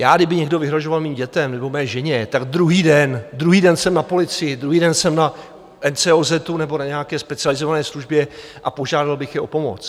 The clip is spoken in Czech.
Já kdyby někdo vyhrožoval mým dětem nebo mé ženě, tak druhý den, druhý den jsem na policii, druhý den jsem na NCOZ nebo na nějaké specializované službě a požádal bych je o pomoc.